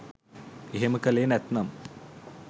එහෙම කළේ නැත්නම්